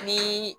Ni